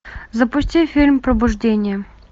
запусти фильм пробуждение